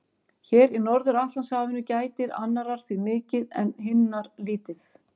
Hér í Norður-Atlantshafinu gætir annarrar því mikið en hinnar lítið.